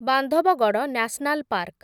Bandhavgarh national park